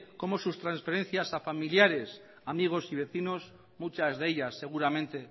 cómo sus transferencias a familiares amigos y vecinos muchas de ellas seguramente